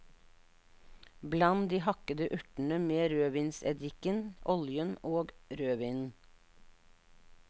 Bland de hakkede urtene med rødvinseddiken, oljen og rødvinen.